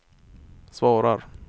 svarar